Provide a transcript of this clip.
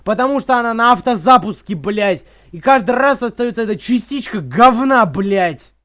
потому что она на автозапуске блять и каждый раз остаётся эта частичка говна блять